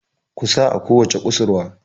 ku sa a kowace kusurwa!